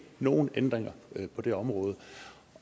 nogen ændringer på det område